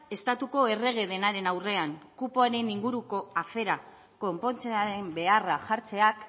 estatuko errege denaren aurrean kupoaren inguruko aferak konpontzearen beharrak jartzeak